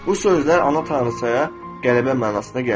Bu sözlər ana tanrıçaya qələbə mənasına gəlir.